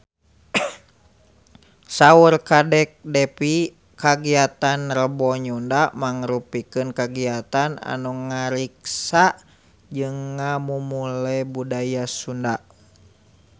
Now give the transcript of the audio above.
Saur Kadek Devi kagiatan Rebo Nyunda mangrupikeun kagiatan anu ngariksa jeung ngamumule budaya Sunda